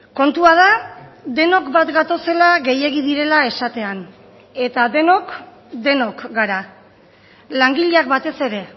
kontua da denok bat gatozela gehiegi direla esatean eta denok denok gara langileak batez ere